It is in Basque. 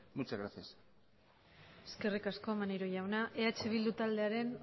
muchas gracias eskerrik asko maneiro jauna eh bildu taldearen